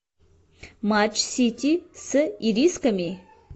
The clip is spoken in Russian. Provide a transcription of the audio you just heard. матч сити с ирисками